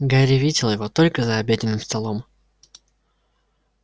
гарри видел его только за обеденным столом